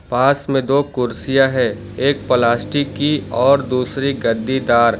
पास में दो कुर्सियां है एक प्लास्टिक की और दूसरी गद्दीदार।